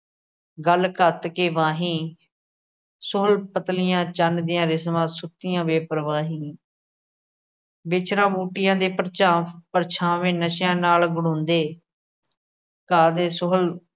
ਗੱਲ ਕੱਤ ਕੇ ਵਾਹੀ ਸੁਣ ਪਤਲੀਆਂ ਚੰਨ ਦੀਆਂ ਰਿਸ਼ਮਾਂ ਸੁਕੀਆਂ ਬੇਪਰਵਾਹੀ ਵਿਚਰਾ ਬੂਟੀਆਂ ਦੇ ਪਰਝਾ ਪਰਛਾਵੇਂ ਨਸ਼ਿਆ ਨਾਲ ਬਣਾਉਂਦੇ, ਕਾਹਦੇ ਸੋਹਲ